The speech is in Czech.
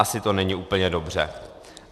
Asi to není úplně dobře.